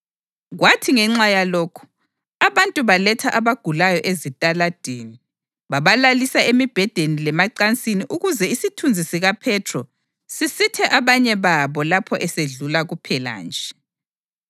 Kwathi ngenxa yalokho, abantu baletha abagulayo ezitaladini, babalalisa emibhedeni lemacansini ukuze isithunzi sikaPhethro sisithe abanye babo lapho esedlula kuphela nje.